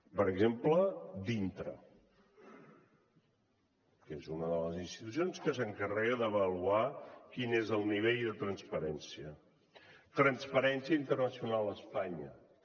per exemple dyntra que és una de les institucions que s’encarrega d’avaluar quin és el nivell de transparència transparència internacional espanya també